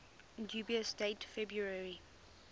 dubious date february